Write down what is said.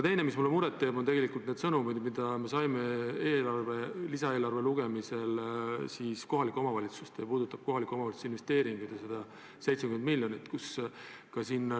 Teine asi, mis mulle muret teeb, on need sõnumid, mida me saime lisaeelarve lugemisel ja mis puudutavad kohalike omavalitsuste uusi investeeringuid ja selleks eraldatud 70 miljonit.